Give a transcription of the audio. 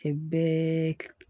O bɛɛ